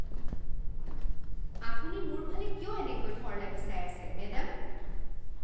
আপুনি মোৰ ফালে কিয় এনেকৈ থৰ লাগি চাই আছে, মেডাম?